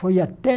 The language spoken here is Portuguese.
Foi até